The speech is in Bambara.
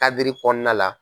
Kadiri kɔnɔna la.